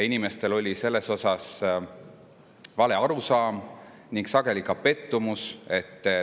Inimestel oli sellest vale arusaam ning sageli nad ka pettusid selles.